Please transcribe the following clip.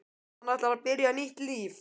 Hann ætlar að byrja nýtt líf.